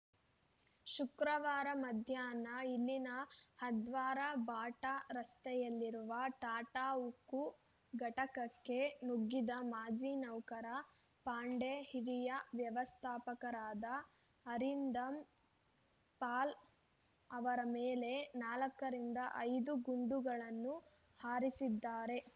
ಶುಕ್ರವಾರ ಮಧ್ಯಾಹ್ನ ಇಲ್ಲಿನ ಹದ್ರ್ವಾರಬಾಟಾ ರಸ್ತೆಯಲ್ಲಿರುವ ಟಾಟಾ ಉಕ್ಕು ಘಟಕಕ್ಕೆ ನುಗ್ಗಿದ ಮಾಜಿ ನೌಕರ ಪಾಂಡೆ ಹಿರಿಯ ವ್ಯವಸ್ಥಾಪಕರಾದ ಅರಿಂದಮ್‌ ಪಾಲ್‌ಅವರ ಮೇಲೆ ನಾಲ್ಕುರಿಂದ ಐದು ಗುಂಡುಗಳನ್ನು ಹಾರಿಸಿದ್ದಾರೆ